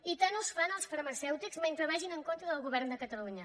i tant us fan els farmacèutics mentre vagin en contra del govern de catalunya